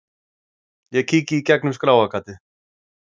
Ég kíki í gegnum skráargatið.